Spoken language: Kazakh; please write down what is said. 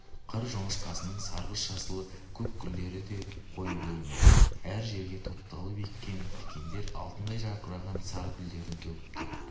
қыр жоңышқасының сарғыш жасыл-көк гүлдері де қою көрінеді әр жерге топталып ескен тікендер алтындай жарқыраған сары гүлдерін төгіп тұр